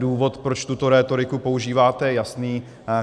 Důvod, proč tuto rétoriku používáte, je jasný.